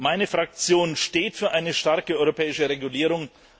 Meine Fraktion steht für eine starke europäische Regulierung.